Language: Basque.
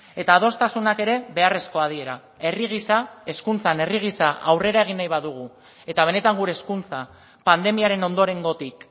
eta adostasunak ere beharrezkoa dira herri gisa hezkuntzan herri gisa aurrera egin nahi badugu eta benetan gure hezkuntza pandemiaren ondorengotik